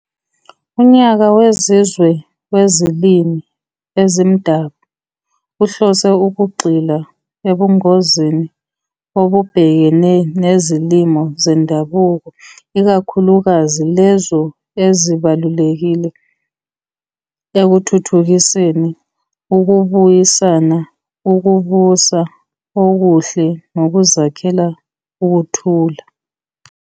Unyaka wezizwe weziLimi eziMdabu uhlose ukugxila ebungozini obubhekene nezilimi zendabuko, ikakhulukazi lezo ezibalulekile ekuthuthukiseni, ukubuyisana, ukubusa okuhle nokuzakhela ukuthula.